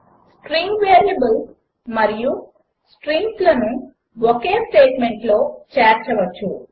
string variables మరియు స్ట్రింగ్స్లను ఒకే స్టేట్మెంట్లో చేర్చవచ్చు